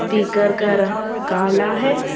पीकर का रंग काला है।